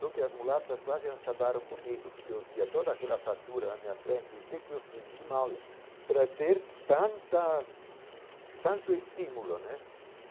Só que as mulatas quase acabaram comigo, porque eu via toda aquela fartura na minha frente e o que que eu fiz de mal para ter tanta hum tanto estímulo, né?